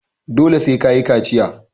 Dole sai ka yi kaciya.